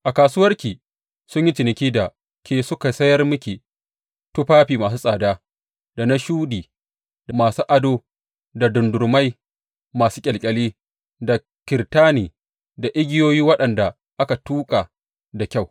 A kasuwarki sun yi ciniki da ke suka sayar miki tufafi masu tsada, da na shuɗi, da masu ado, da dardumai masu ƙyalƙyali da kirtani, da igiyoyi waɗanda aka tuƙa da kyau.